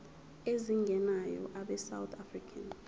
ezingenayo abesouth african